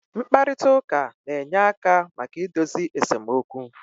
Mkparịta ụka na-enye aka maka idozi esemokwu